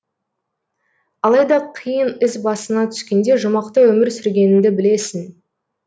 алайда қиын іс басыңа түскенде жұмақты өмір сүргеніңді білесің